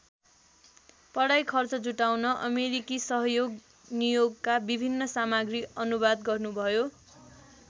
पढाई खर्च जुटाउन अमेरिकी सहयोग नियोगका विभिन्न सामग्री अनुवाद गर्नुभयो।